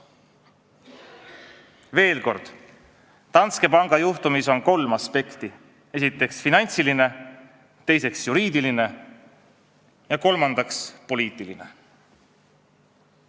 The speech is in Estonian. Veel kord, Danske panga juhtumis on kolm aspekti: esiteks finantsiline, teiseks juriidiline ja kolmandaks poliitiline.